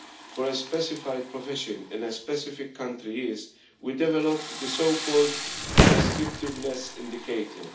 for a specified profession in a specific country is, we developed the so called restrictiveness indicator'.